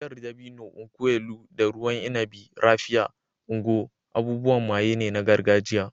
Giyar dabino (nkwu elu) da ruwan inabi "Raphia" (Ngwo) abubuwan maye ne na gargajiya.